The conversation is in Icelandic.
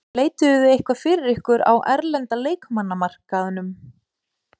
Leituðuð þið eitthvað fyrir ykkur á erlenda leikmannamarkaðnum?